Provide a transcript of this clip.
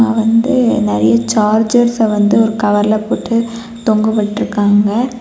வந்து நெறைய சார்ஜ்ர்ஸ்அ வந்து ஒரு கவர்ல போட்டு தொங்கவிட்ருக்காங்க.